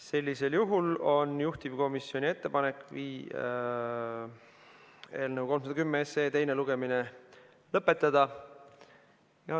Sellisel juhul on juhtivkomisjoni ettepanek eelnõu 310 teine lugemine lõpetada.